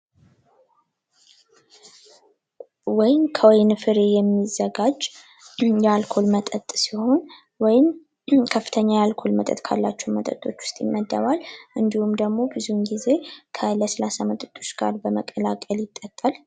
ወይን ከወይን ፍሬ የሚዘጋጅ የአልኮል መጠጥ ሲሆን ወይም ከፍተኛ የአልኮል መጠጥ ካላቸው መጠጦች ውስጥ ይመደባል እንድሁም ደግሞ ብዙ ጊዜ ከለስላሳ መጠጦች ጋር በመቀላቀል ይጠጣል።